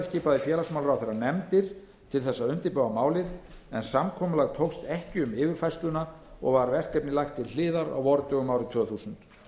skipaði félagsmálaráðherra nefndir til að undirbúa málið en samkomulag tókst ekki um yfirfærsluna og var verkefnið lagt til hliðar á vordögum árið tvö þúsund